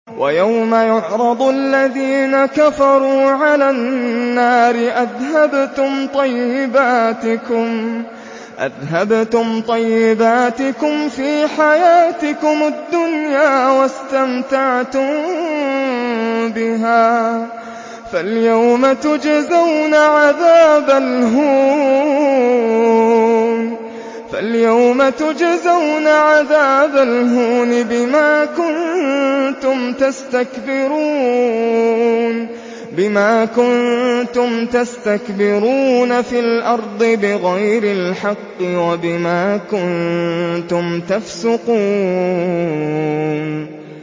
وَيَوْمَ يُعْرَضُ الَّذِينَ كَفَرُوا عَلَى النَّارِ أَذْهَبْتُمْ طَيِّبَاتِكُمْ فِي حَيَاتِكُمُ الدُّنْيَا وَاسْتَمْتَعْتُم بِهَا فَالْيَوْمَ تُجْزَوْنَ عَذَابَ الْهُونِ بِمَا كُنتُمْ تَسْتَكْبِرُونَ فِي الْأَرْضِ بِغَيْرِ الْحَقِّ وَبِمَا كُنتُمْ تَفْسُقُونَ